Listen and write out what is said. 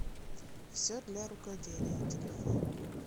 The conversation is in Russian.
все для рукоделия телефон